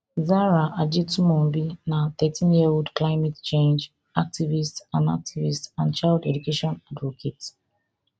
zahra ajetunmobi na thirteen year old climate change activist and activist and child education advocate